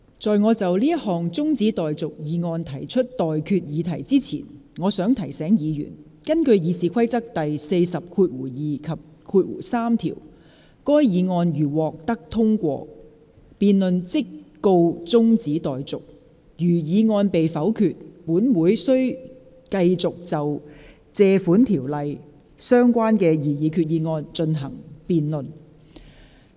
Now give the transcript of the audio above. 在我就這項中止待續議案提出待決議題之前，我想提醒議員，根據《議事規則》第402及3條，該議案如獲得通過，辯論即告中止待續；如議案被否決，本會便須繼續就根據《借款條例》動議的擬議決議案進行辯論。